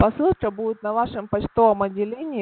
посылка будет на вашем почтовом отделении